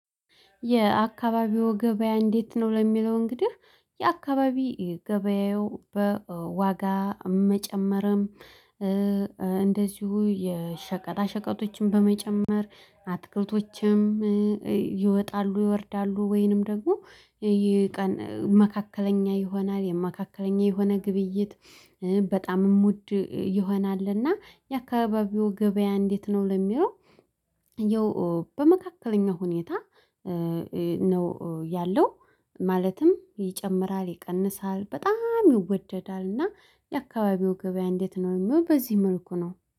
የአካባቢው ገበያ እንዴት ነው? ለሚለው እንግዲህ የአካባቢ ገበያው በዋጋ መጨመርም እንደዚሁ የሸቀጣ ሸቀጦችን በመጨመር አትክልቶችም ይወጣሉ ይወርዳሉ ወይንም ደግሞ ይሄ መካከለኛ ይሆናል መካከለኛ የሆነ ግብይት በጣምም ሙድ ይሆናል እና የአካባቢው ገበያ እንዴት ነው ለሚለው ያው በመካከለኛው ሁኔታ ነው ያለው ማለትም ይጨምራል ይቀንሳል በጣም ይወደዳል እና የአካባቢው ገበያ እንዴት ነው የሚሆነው በዚህ መልኩ ነው።